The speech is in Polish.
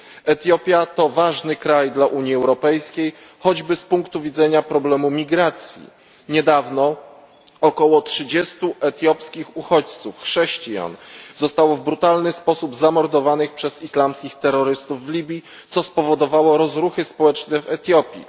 Etiopia to ważny kraj dla Unii Europejskiej, choćby z punktu widzenia problemu migracji. Niedawno około 30 etiopskich uchodźców, chrześcijan, zostało w brutalny sposób zamordowanych przez islamskich terrorystów w Libii, co spowodowało rozruchy społeczne w Etiopii.